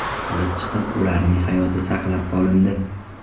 olib chiqilib, ularning hayoti saqlab qolindi.